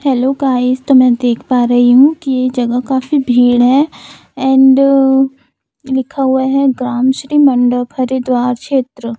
Hello guys तो मैं देख पा रही हूं की ये जगह काफी भीड़ है एंड अ लिखा हुआ है ग्राम श्री मंडप हरिद्वार क्षेत्र।